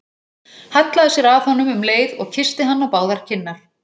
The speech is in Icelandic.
Hallaði sér að honum um leið og kyssti hann á báðar kinnar.